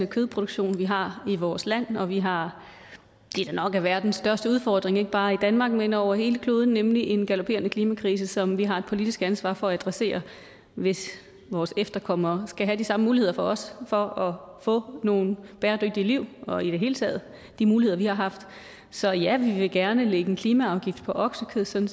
kødproduktion vi har i vores land og vi har det der nok er verdens største udfordring ikke bare i danmark men over hele kloden nemlig en galopperende klimakrise som vi har et politisk ansvar for at adressere hvis vores efterkommere skal have de samme muligheder som os for at få nogle bæredygtige liv og i det hele taget de muligheder vi har haft så ja vi vil gerne lægge en klimaafgift på oksekød sådan